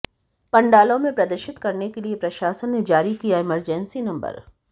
पंडालों में प्रदर्शित करने के लिए प्रशासन ने जारी किया इमरजेंसी नंबर